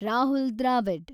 Rahul Dravid